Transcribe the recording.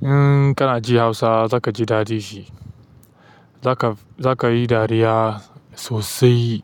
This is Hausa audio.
in kana ji Hausa zakaji ɗadi shi. Za ka, za ka yi dariya sosai.